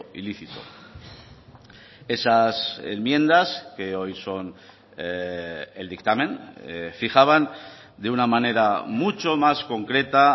ilícito esas enmiendas que hoy son el dictamen fijaban de una manera mucho más concreta